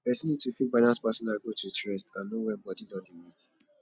person need to fit balance personal growth with rest and know when body don dey weak